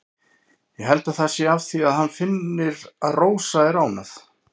Ég held það sé af því að hann finnur að Rósa er ánægð.